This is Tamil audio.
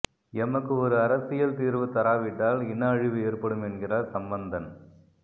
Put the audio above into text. எமக்கு ஒரு அரசியல் தீர்வு தராவிட்டால் இன அழிவு ஏற்படும் என்கிறார் சம்பந்தன்